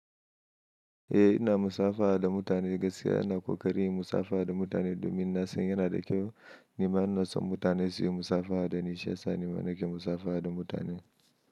Eh ina musafaha da mutane, gaskiya ina ƙoƙari yin musafaha da mutane domin na san yana da kyau. Ni ma in na san mutane su yi musafaha dani, shi yasa ni ma nake musafaha da mutane.